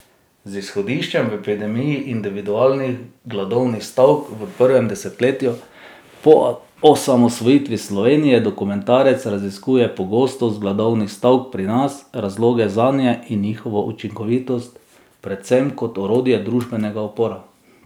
Z izhodiščem v epidemiji individualnih gladovnih stavk v prvem desetletju po osamosvojitvi Slovenije dokumentarec raziskuje pogostost gladovnih stavk pri nas, razloge zanje in njihovo učinkovitost, predvsem kot orodje družbenega upora.